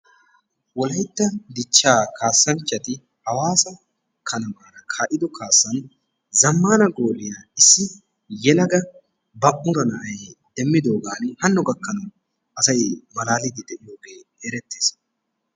Wolayttaa dichcha kaassanchchati Hawaasa kanamaara kaa'ido kaassan zammaana gooliyaa issi yelagaa balu'una nay demidooga hanno gakkanawu asay malaaliiddi de'ees.